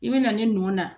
I bɛ na ne nɔ na